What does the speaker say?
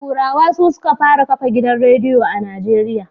Turawa su suka fara kafa gidan radiyo a Najeriya.